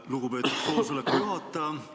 Lugupeetud koosoleku juhataja!